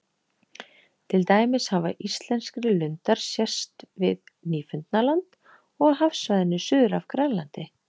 Til dæmis hafa íslenskri lundar sést við Nýfundnaland og á hafsvæðinu suður af Grænlandi.